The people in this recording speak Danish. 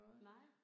Nej